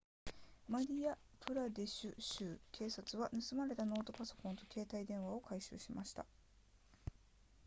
マディヤプラデシュ州警察は盗まれたノートパソコンと携帯電話を回収しました